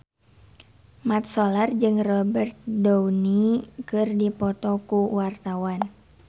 Mat Solar jeung Robert Downey keur dipoto ku wartawan